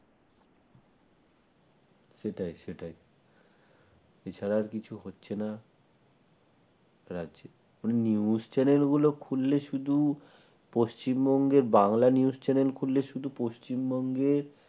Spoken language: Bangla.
সেটাই সেটাই এছাড়া আর কিছু হচ্ছে না রাজ্যে news channel গুলো খুললে শুধু পশ্চিমবঙ্গের বাংলা news channel খুললে শুধু পশ্চিমবঙ্গে